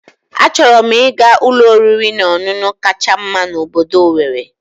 Achọrọ m ịga ụlọ oriri na ọṅụṅụ kacha mma na obodo Owerri